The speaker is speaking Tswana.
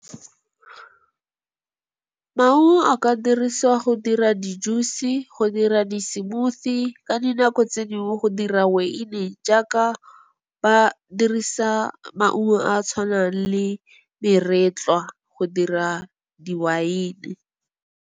Maungo a ka dirisiwa go dira di-juice, go dira di-smoothie ka dinako tse dingwe go dira weine, jaaka ba dirisa maungo a a tshwanang le meretlwa go dira diweine.